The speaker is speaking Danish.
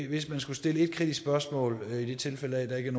hvis man skulle stille et kritisk spørgsmål og i tilfælde af at der ikke